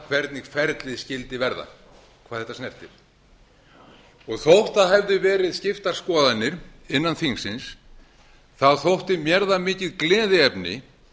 hvernig ferlið skyldi verða hvað þetta snertir þótt það hefðu verið skiptar skoðanir innan þingsins þótti mér það mikið gleðiefni